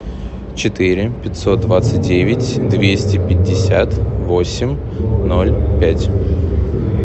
четыре пятьсот двадцать девять двести пятьдесят восемь ноль пять